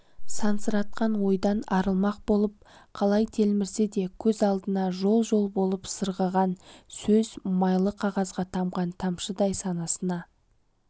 сансыратқан ойдан арылмақ болып қалай телмірсе де көз алдынан жол-жол болып сырғыған сөз майлы қағазға тамған тамшыдай санасына